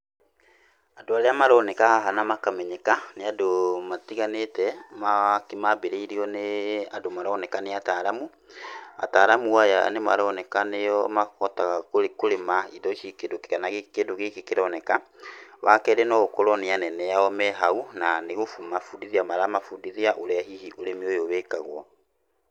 Andũ arĩa maroneka haha na makamenyeka nĩ andũ matiganĩte, maambĩrĩirwo nĩ andũ maroneka nĩ ataaramu. Ataaramu aya nĩ maroneka nĩo mahotaga kũrĩma indo ici, kana kĩndũ gĩkĩ kĩroneka. Wa kerĩ, no gũkorwo nĩ anene ao me hau na nĩ kũmabundithia maramabundithia ũrĩa hihi ũrĩmi ũyũ wĩkagwo.